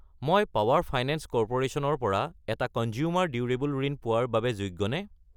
মই Power Finance Corporation ৰ পৰা এটা কঞ্জ্যুমাৰ ডিউৰেবল ঋণ পোৱাৰ বাবে যোগ্যনে?